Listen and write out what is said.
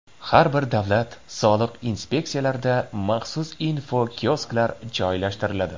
Har bir davlat soliq inspeksiyalarida maxsus infokiosklar joylashtiriladi.